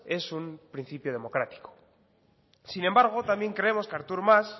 es un principio democrático sin embargo también creemos que artur mas